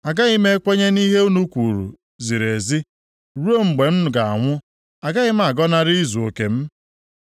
Agaghị m ekwenye na ihe unu kwuru ziri ezi; ruo mgbe m ga-anwụ, agaghị m agọnarị izuoke m.